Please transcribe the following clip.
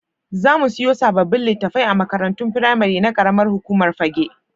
Za mu siyo sababbin litattafai a makarantun firamari na ƙaramar hukumar Fagge.